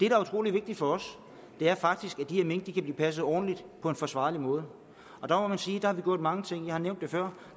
er utrolig vigtigt for os er faktisk at de her mink kan blive passet ordentligt og på en forsvarlig måde og der må man sige at vi har gjort mange ting jeg har nævnt det før